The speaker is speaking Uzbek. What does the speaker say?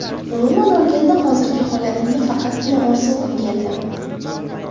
Umuman olganda hozirgi holatimni faqatgina orzu qilgandim.